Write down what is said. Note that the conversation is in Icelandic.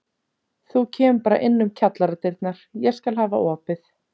Þú kemur bara inn um kjallaradyrnar, ég skal hafa opið.